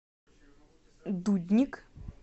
дудник